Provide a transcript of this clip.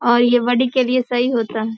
और ये बॉडी के लिए सही होता है।